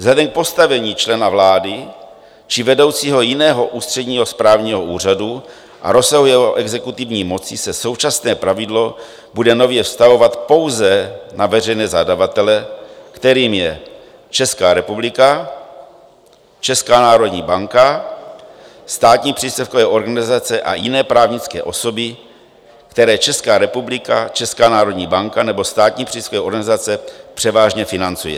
Vzhledem k postavení člena vlády či vedoucího jiného ústředního správního úřadu a rozsahu jeho exekutivní moci se současné pravidlo bude nově vztahovat pouze na veřejné zadavatele, kterým je Česká republika, Česká národní banka, státní příspěvkové organizace a jiné právnické osoby, které Česká republika, Česká národní banka nebo státní příspěvkové organizace převážně financuje.